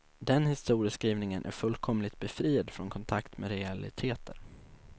Den historieskrivningen är fullkomligt befriad från kontakt med realiteter.